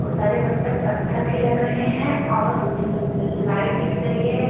और सारे बत्तख पत्थर के लग रहे हैं और ल लाइट दिख रही है।